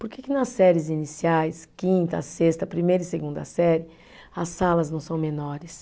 Por que que nas séries iniciais, quinta, sexta, primeira e segunda série, as salas não são menores?